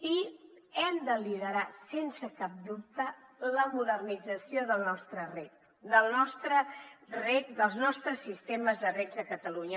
i hem de liderar sense cap dubte la modernització del nostre reg dels nostres sistemes de reg a catalunya